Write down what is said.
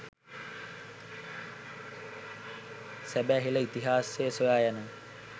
සැබෑ හෙල ඉතිහාසය සොයා යන